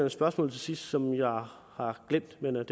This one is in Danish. et spørgsmål til sidst som jeg har glemt men det